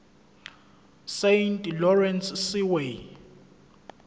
saint lawrence seaway